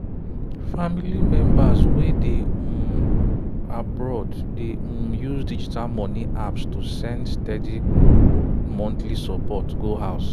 family members wey dey um abroad dey um use digital money apps to send steady monthly support go house